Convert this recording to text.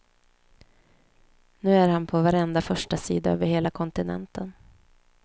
Nu är han på varenda förstasida över hela kontinenten.